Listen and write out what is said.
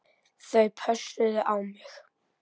Þau pössuðu á mig.